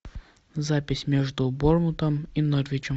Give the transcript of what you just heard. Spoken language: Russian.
запись между борнмутом и норвичем